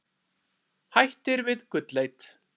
Hættir við gullleit